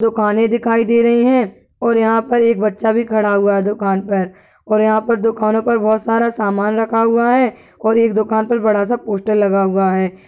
दुकाने दिखाई दे रही हैं और यहाँ पर एक बच्चा भी खड़ा हुआ है दुकान पर और यहाँ पर दुकानों पर बहोत सारा सामन रखा हुआ है और एक दुकान पर बड़ा सा पोस्टर लगा हुआ है।